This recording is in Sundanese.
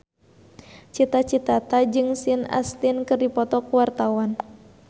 Cita Citata jeung Sean Astin keur dipoto ku wartawan